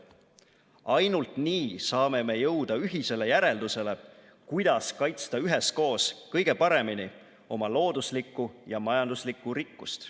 Ainult nii saame me jõuda ühisele järeldusele, kuidas kaitsta üheskoos kõige paremini oma looduslikku ja majanduslikku rikkust.